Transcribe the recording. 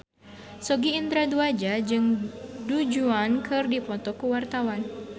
Sogi Indra Duaja jeung Du Juan keur dipoto ku wartawan